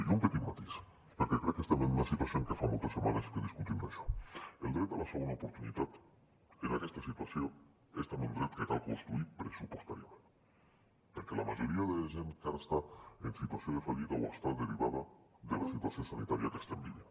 i un petit matís perquè crec que estem en una situació en què fa moltes setmanes que discutim d’això el dret a la segona oportunitat en aquesta situació és també un dret que cal construir pressupostàriament perquè la majoria de gent que ara està en situació de fallida ho està derivada de la situació sanitària que estem vivint